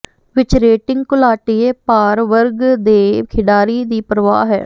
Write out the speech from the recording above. ਵਿੱਚ ਰੇਟਿੰਗ ਘੁਲਾਟੀਏ ਭਾਰ ਵਰਗ ਦੇ ਖਿਡਾਰੀ ਦੀ ਪਰਵਾਹ ਹੈ